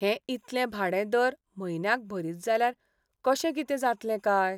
हें इतलें भाडें दर म्हयन्याक भरीत जाल्यार कशें कितें जातलें काय!